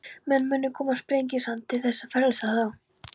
Menn munu koma Sprengisand til þess að frelsa þá.